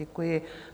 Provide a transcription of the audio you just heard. Děkuji.